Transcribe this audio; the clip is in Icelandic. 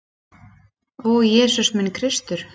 Ó, Jesús minn Kristur!